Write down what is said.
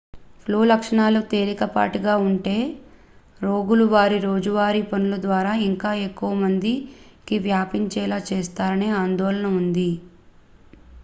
flu లక్షణాలు తేలికపాటిగా ఉంటే రోగులు వారి రోజువారీ పనుల ద్వారా ఇంకా ఎక్కువ మందికి వ్యాపించేలా చేస్తారనే ఆందోళన ఉంది